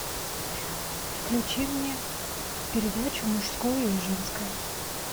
включи мне передачу мужское и женское